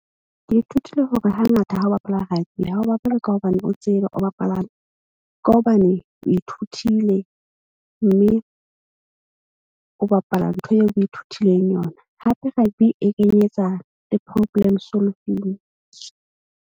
Ke ithutile hore hangata ha o bapala rugby ha o bapale ka hobane o tsebe o ba palame. Ka hobane o ithutile mme o bapala ntho eo o ithutileng yona. Hape rugby e kenyetsa le problem solving.